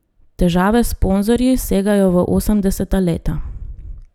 Težave s sponzorji segajo v osemdeseta leta.